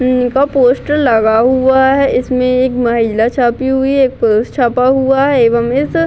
का पोस्टर लगा हुआ है इसमें एक महिला छापी हुई है एक पुरुष छपा हुआ है ।